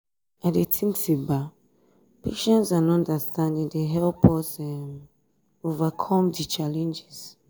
i dey think say um patience and understanding dey help us um overcome di challenges.